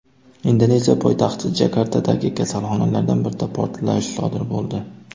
Indoneziya poytaxti Jakartadagi kasalxonalardan birida portlash sodir bo‘ldi.